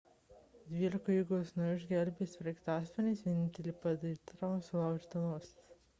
dvylika įgulos narių išgelbėti sraigtasparniais vienintelė patirta trauma – sulaužyta nosis